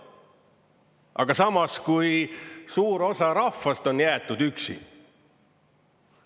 Aga samas, kui suur osa rahvast on jäetud üksi?